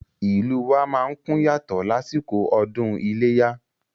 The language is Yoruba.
Ìlú wa má ń kún yàtọ̀ lásìkò ọdún iléyá